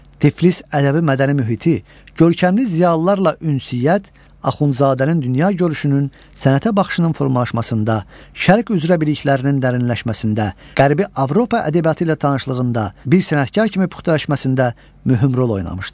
Tiflis ədəbi mədəni mühiti, görkəmli ziyalılarla ünsiyyət Axundzadənin dünya görüşünün, sənətə baxışının formalaşmasında, şərq üzrə biliklərinin dərinləşməsində, Qərbi Avropa ədəbiyyatı ilə tanışlığında bir sənətkar kimi puxtalaşmasında mühüm rol oynamışdır.